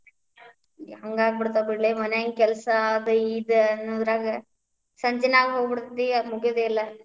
ಹಂಗ ಆಗಿಬಿಡ್ತಾವ್ ಬಿಡ್ಲೇ ಮನ್ಯಾಗಿನ ಕೆಲಸಾ ಆದ್ ಇದ ಅನ್ನೂದ್ರಾಗ, ಸಂಜಿನ ಆಗ್ಹೋಗಿ ಬಿಡ್ತೇತಿ, ಆದ್ ಮುಗಿಯುದೇ ಇಲ್ಲ.